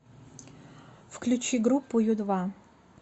включи группу ю два